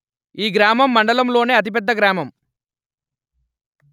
ఈ గ్రామం మండలంలోనే అతి పెద్ద గ్రామం